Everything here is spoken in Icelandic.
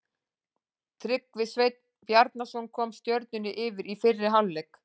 Tryggvi Sveinn Bjarnason kom Stjörnunni yfir í fyrri hálfleik.